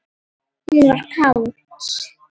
Hún var kát.